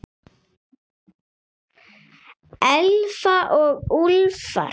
Elfa og Úlfar.